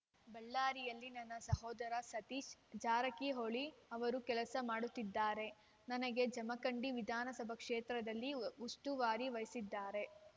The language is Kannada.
ಬಳ್ಳಾರಿಯಲ್ಲಿ ನನ್ನ ಸಹೋದರ ಸತೀಶ್‌ ಜಾರಕಿಹೊಳಿ ಅವರು ಕೆಲಸ ಮಾಡುತ್ತಿದ್ದಾರೆ ನನಗೆ ಜಮಖಂಡಿ ವಿಧಾನಸಭಾ ಕ್ಷೇತ್ರದ ಉಸ್ತುವಾರಿ ವಹಿಸಿದ್ದಾರೆ